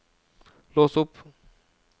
lås opp